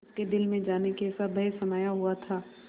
उसके दिल में जाने कैसा भय समाया हुआ था